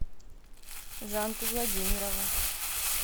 жанку владимирову